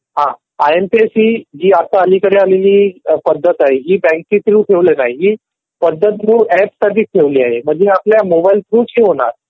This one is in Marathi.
हा आय एम पी एस ही जी आता अलीकडे आलेली पद्धत आहे ही बँके थ्रू आहे. ही पद्धत ऍप साठी ठेवलेली आहे. म्हणजे आपल्या मोबाईल थ्रू च होणार.